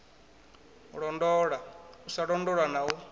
londola u sa londola na